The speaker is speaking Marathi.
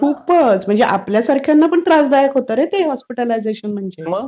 खूपच. म्हणजे आपल्यासारख्यांना पण त्रासदायक होतं रे ते हॉस्पिटलायझेशन म्हणजे